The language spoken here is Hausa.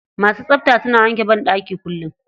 Masu tsabta suna wanke banɗaki kullum.